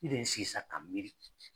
I bɛ n sigi sa ka n miiri